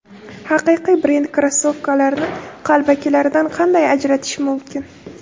Haqiqiy brend krossovkalarini qalbakilaridan qanday ajratish mumkin?.